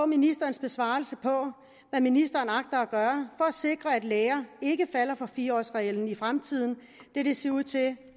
ministerens besvarelse på hvad ministeren agter at gøre for at sikre at læger ikke falder for fire årsreglen i fremtiden da det ser ud til